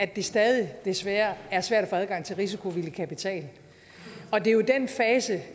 det stadig desværre er svært at få adgang til risikovillig kapital det er den fase